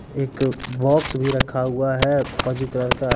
एक बॉक्स भी रखा हुआ है फौजी कलर का।